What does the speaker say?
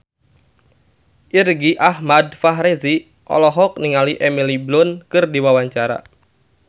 Irgi Ahmad Fahrezi olohok ningali Emily Blunt keur diwawancara